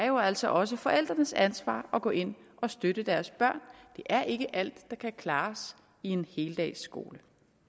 jo altså også er forældrenes ansvar at gå ind og støtte deres børn det er ikke alt der kan klares i en heldagsskole